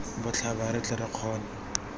botlhaba re tle re kgone